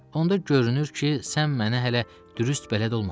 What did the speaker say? Onda görünür ki, sən mənə hələ dürüst bələd olmamısan.